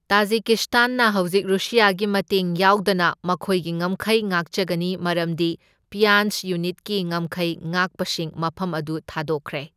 ꯇꯥꯖꯤꯀꯤꯁ꯭ꯇꯥꯟꯅ ꯍꯧꯖꯤꯛ ꯔꯨꯁꯤꯌꯥꯒꯤ ꯃꯇꯦꯡ ꯌꯥꯎꯗꯅ ꯃꯈꯣꯢꯒꯤ ꯉꯝꯈꯩ ꯉꯥꯛꯆꯒꯅꯤ ꯃꯔꯝꯗꯤ ꯄ꯭ꯌꯥꯟꯖ ꯌꯨꯅꯤꯠꯀꯤ ꯉꯝꯈꯩ ꯉꯥꯛꯄꯁꯤꯡ ꯃꯐꯝ ꯑꯗꯨ ꯊꯥꯗꯣꯛꯈ꯭ꯔꯦ꯫